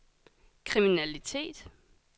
kriminalitet